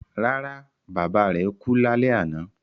Rárá, bàbá rẹ̀ kú lálẹ́ àná